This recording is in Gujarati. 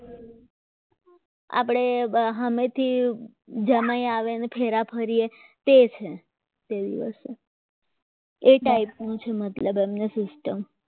આપણે સામેથી જમાઈ આવે ને ફેરા ફરીએ તે છે તે દિવસે એ type નું છે મતલબ એમની system